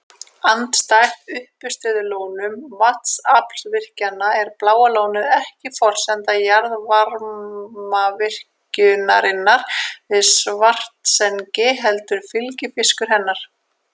Andstætt uppistöðulónum vatnsaflsvirkjana er Bláa lónið ekki forsenda jarðvarmavirkjunarinnar við Svartsengi heldur fylgifiskur hennar.